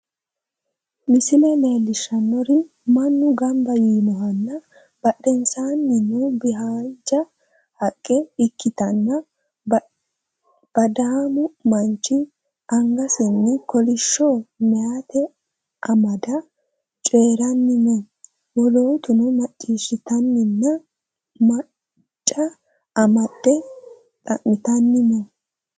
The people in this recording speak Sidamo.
Misile leellishannori mannu gamba yiinohana badhensaannibhaanja haqqe ikkitanna, baddaamu manchi angasinni kolishsho maayka amade cooyranni no. Wolootuno macciishitanninna maayca amadde xa'mitanni no.